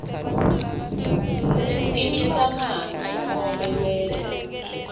imihlangano nobe kwenta